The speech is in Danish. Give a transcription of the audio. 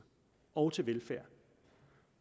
og til velfærd